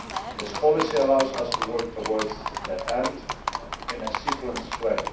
This policy allows us to work towards that end, in a sequenced way.